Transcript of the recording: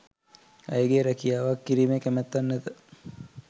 ඇයගේ රැකියාවක් කිරීමේ කැමැත්තක් නැත.